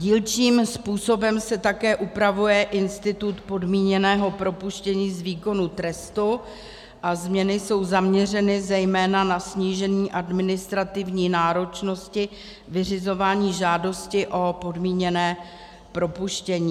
Dílčím způsobem se také upravuje institut podmíněného propuštění z výkonu trestu a změny jsou zaměřeny zejména na snížení administrativní náročnosti vyřizování žádosti o podmíněné propuštění.